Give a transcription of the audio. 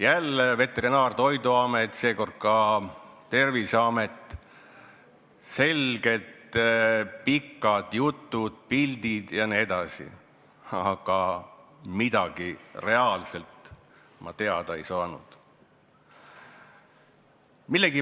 Jälle Veterinaar- ja Toiduamet, seekord ka Terviseamet, selged pikad jutud, pildid jne, aga tegelikult ma midagi teada ei saanud.